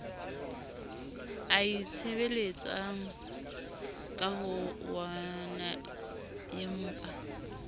a itshebeletsang ka bo oonaempa